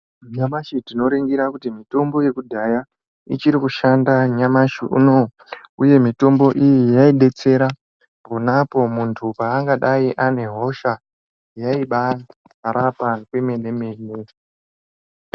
Nyamashi tinoringira kuti mitombo yekudhaya, ichiri kushanda nyamashi unowu, uye mitombo iyi yaidetsera, pona apo muntu paangadai ane hosha. Yaibaarapa kwemene -mene.